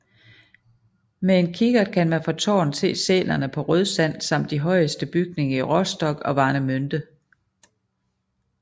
Med kikkert kan man fra tårnet se sælerne på Rødsand samt de højeste bygninger i Rostock og Warnemünde